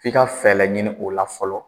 F'i ka fɛla ɲinin o la fɔlɔ.